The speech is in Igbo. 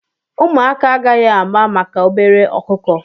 Ụmụaka agaghị ama maka obere ọkụkọ.